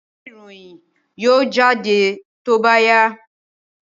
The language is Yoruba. Ìwé ìròyìn yóò jáde ní tí ó bá yá